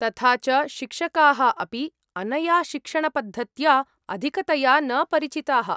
तथा च शिक्षकाः अपि अनया शिक्षणपद्धत्या अधिकतया न परिचिताः।